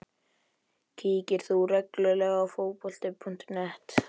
Kíkir þú reglulega á Fótbolta.net?